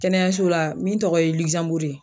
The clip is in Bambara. Kɛnɛyaso la min tɔgɔ ye ligizanburu ye